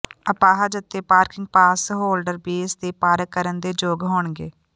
ਅਪਾਹਜ ਅਤੇ parking pass holder base ਤੇ ਪਾਰਕ ਕਰਨ ਦੇ ਯੋਗ ਹੋਣਗੇ